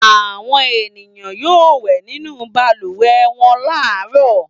Àwọn ènìyàn yóò wẹ̀ nínú balùwẹ̀ wọn láàárọ̀.